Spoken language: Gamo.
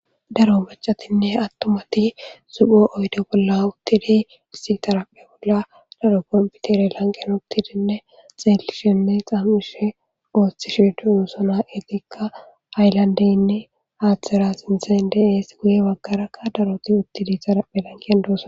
Daro bacatinne attumati supho oydo bolla uttide issi tarapphe bolla daro komputere lanqen uktidinne xeelishenne xammishe oothtishe duu sona etikka aylandeynne haaththera sinthen deees guye baggarakka daroti uttidi xarapphe lankiyan doosan.